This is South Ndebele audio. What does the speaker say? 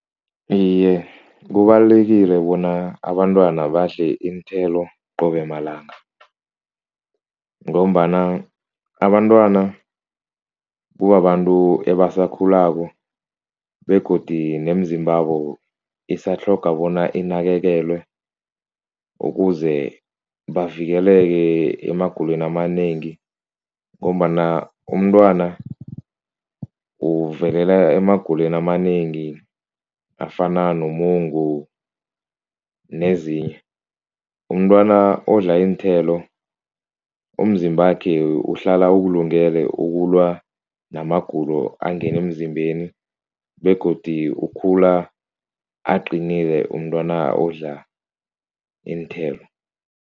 Iye, kubalulekile bona abantwana badle iinthelo qobe malanga ngombana abantwana kubabantu ebasakhulako begodi nemizimbabo isatlhogwa bona inakekelwe ukuze bavikeleke emagulweni amanengi ngombana umntwana emagulweni amanengi afana nomungu nezinye, umntwana odla iinthelo umzimbakhe uhlala ukulungele ukulwa namagulo angenemzimbeni begodi ukhula aqinile umntwana odla iinthelo.